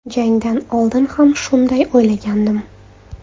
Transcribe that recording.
Jangdan oldin ham shunday o‘ylagandim.